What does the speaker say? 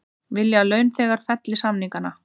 Vilja að launþegar felli samningana